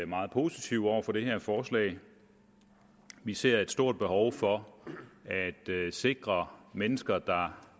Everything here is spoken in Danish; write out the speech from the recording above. meget positive over for det her forslag vi ser et stort behov for at sikre at mennesker der